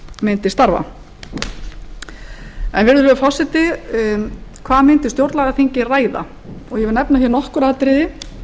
mundi starfa virðulegi forseti hvað mundi stjórnlagaþingið ræða ég vil nefna nokkur atriði